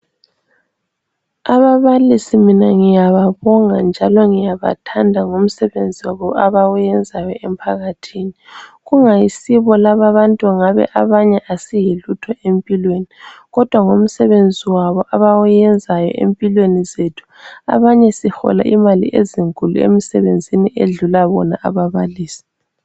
Ababalisi mina ngiyababonga njalo ngiyabathanda ngomsebenzi wabo abawenzayo emphakathini. Kungayisibo lababantu ngabe abanye asiyilutho empilweni Kodwa ngomsebenzi wabo abawuyenzayo empilweni zethu, abanye sihola imali ezinkulu emisebenzini edlula bona ababalisi.